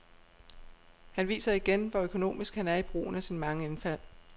Han viser igen, hvor økonomisk han er i brugen af sine mange indfald.